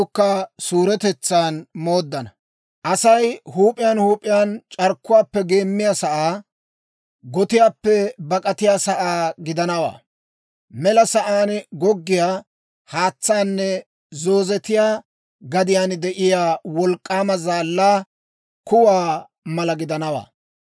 Asay huup'iyaan huup'iyaan c'arkkuwaappe geemmiyaa saa, gotiyaappe bak'atiyaa sa'aa gidanawaa; mela sa'aan goggiyaa haatsaanne zoozetiyaa gadiyaan de'iyaa wolk'k'aama zaallaa kuwaa mala gidanawaa.